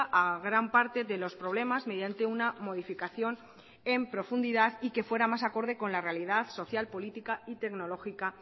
a gran parte de los problemas mediante una modificación en profundidad y que fuera más acorde con la realidad social política y tecnológica